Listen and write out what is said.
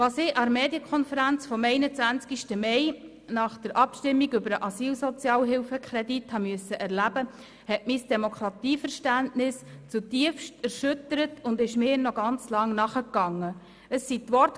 Was ich an der Medienkonferenz vom 21. Mai nach der Abstimmung über den Asylsozialhilfekredit habe erleben müssen, hat mein Demokratieverständnis zutiefst erschüttert und mich noch sehr lange beschäftigt.